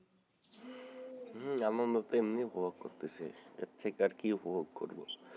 হম আনন্দ তো এমনি ই উপভোগ করতেছি এর থেকে আর কি উপভোগ করবো,